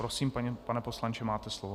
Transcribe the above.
Prosím, pane poslanče, máte slovo.